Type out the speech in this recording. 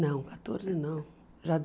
Não, quatorze não, já